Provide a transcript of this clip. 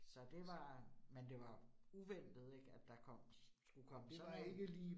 Så det var, men det var uventet ik, at der kom, skulle komme sådan her